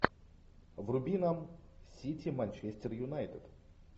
вруби нам сити манчестер юнайтед